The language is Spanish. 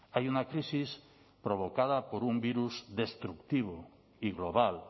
hay una crisis provocada por un virus destructivo y global